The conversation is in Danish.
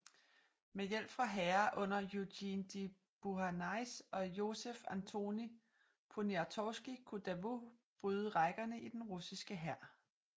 Med hjælp fra hære under Eugène de Beauharnais og Józef Antoni Poniatowski kunne Davout bryde rækkerne i den russiske hær